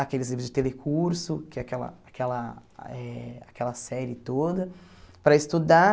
aqueles livros de telecurso, que é aquela aquela eh aquela série toda, para estudar.